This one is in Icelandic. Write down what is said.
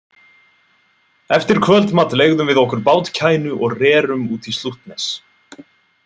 Eftir kvöldmat leigðum við okkur bátkænu og rerum útí Slútnes.